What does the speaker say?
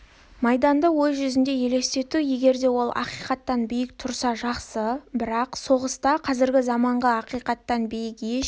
майданды ой жүзінде елестету егер де ол ақиқаттан биік тұрса жақсы бірақ соғыста қазіргі заманғы ақиқаттан биік еш